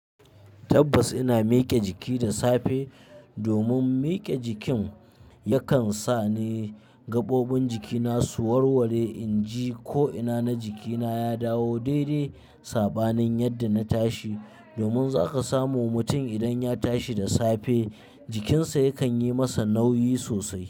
Tabbas ina mike jiki da safe, domin mike jikin yakan sa ni gaɓoɓin jikina su warware inji ko ina na jikina ya dawo daidai saɓanin yadda na tashi. Domin zaka samu mutum idan ya tashi da safe, jikinsa yakan yi masa nauyi sosai.